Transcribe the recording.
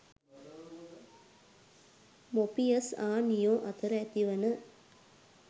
Morpheus හා Neo අතර ඇතිවන